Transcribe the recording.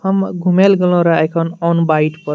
हम घूमे ले गेलो रहे आय खन ओन बाइट पर।